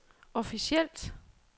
officielt